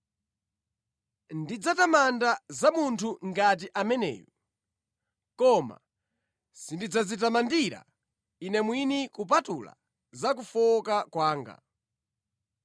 Ndidzatamanda za munthu ngati ameneyu, koma sindidzadzitamandira ine mwini kupatula za kufowoka kwanga.